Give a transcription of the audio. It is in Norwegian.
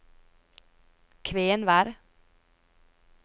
Kvenvær